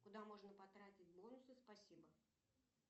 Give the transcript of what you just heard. куда можно потратить бонусы спасибо